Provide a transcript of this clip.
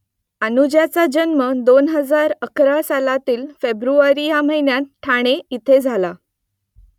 अनुजाचा जन्म दोन हजार अकरा सालातील फेब्रुवारी या महिन्यात ठाणे येथे झाला